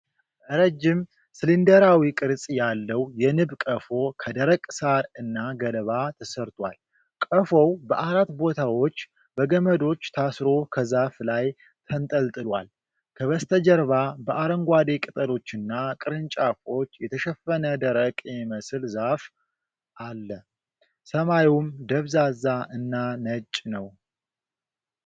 ረጅም፣ ሲሊንደራዊ ቅርጽ ያለው የንብ ቀፎ ከደረቅ ሳር እና ገለባ ተሰርቷል። ቀፎው በአራት ቦታዎች በገመዶች ታስሮ ከዛፍ ላይ ተንጠልጥሏል። ከበስተጀርባ በአረንጓዴ ቅጠሎችና ቅርንጫፎች የተሸፈነ ደረቅ የሚመስል ዛፍ አለ፤ ሰማዩም ደብዛዛ እና ነጭ ነው።